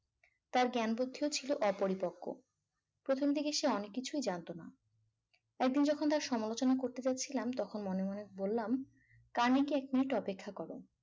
তার জ্ঞান বুদ্ধিও ছিল অপরিপক্ক প্রথম থেকে এসে অনেক কিছুই জানতো না। একদিন যখন তার সমালোচনা করতে যাচ্ছিলাম তখন মনে মনে বললাম কানিকে এক minute অপেক্ষা করো